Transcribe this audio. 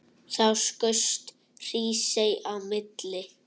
Þá skaust Hrísey á milli.